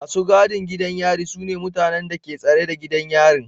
Masu gadin gidan yari mutane ne da ke tsare gidan yarin.